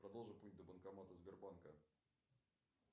продолжи путь до банкомата сбербанка